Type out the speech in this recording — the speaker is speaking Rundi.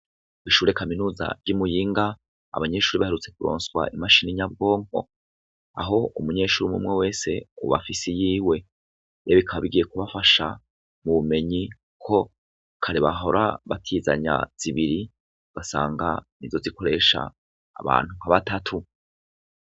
Ishure kaminuza y'i Muyinga, abanyeshure baherutse kuronswa imashini nyabwonko. Aho umunyeshure wese ubu afise iyiwe. Rero bikaba bigiye kubafasha mu bumenyi ko kare bahora batizanya zibiri, ugasanga nizo zikoresha abantu nka batatu.